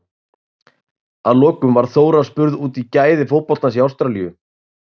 Að lokum var Þóra spurð út í gæði fótboltans í Ástralíu?